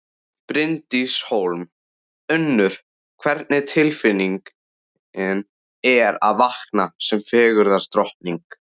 Bryndís Hólm: Unnur, hvernig tilfinning er að vakna sem fegurðardrottning?